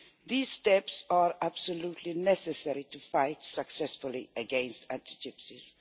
These steps are absolutely necessary to fight successfully against anti Gypsyism.